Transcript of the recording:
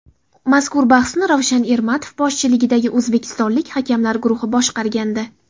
Mazkur bahsni Ravshan Ermatov boshchiligidagi o‘zbekistonlik hakamlar guruhi boshqargandi.